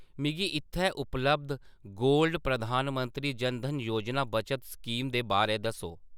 मिगी इत्थै उपलब्ध गोल्ड प्रधानमंत्री जन धन योजना बचत स्कीम दे बारै दस्सो !